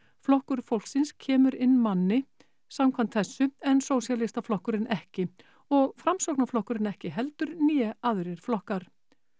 flokkur fólksins kemur inn einum manni samkvæmt þessu en Sósíalistaflokkurinn ekki og Framsóknarflokkurinn ekki heldur né aðrir flokkar